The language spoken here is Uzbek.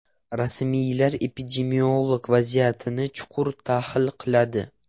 Rasmiylar epidemiologik vaziyatni chuqur tahlil qiladi.